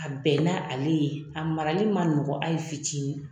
A bɛn n' ale ye a marali ma nɔgɔn ayi fitiinin.